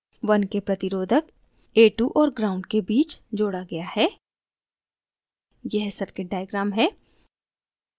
1k प्रतिरोधक a2 और ground gnd के बीच जोड़ा गया है यह circuit diagram है